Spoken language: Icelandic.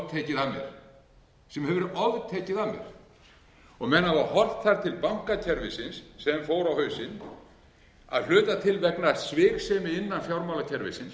af mér sem hefur veð oftekið af mér menn hafa horft þar til bankakerfisins sem fór á hausinn að hluta til vegna sviksemi innan fjármálakerfisins